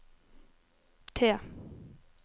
T